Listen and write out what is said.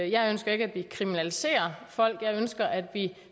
jeg ønsker ikke at vi kriminaliserer folk jeg ønsker at vi